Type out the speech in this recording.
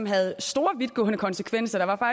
havde store vidtgående konsekvenser der